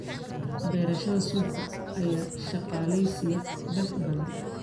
Beerashada suufka ayaa shaqaaleysiiya dad badan.